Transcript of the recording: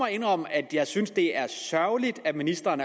indrømme at jeg synes at det er sørgeligt at ministeren